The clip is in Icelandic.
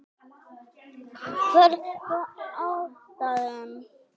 Hver var ástæðan?